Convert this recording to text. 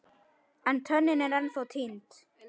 En tönnin er ennþá týnd.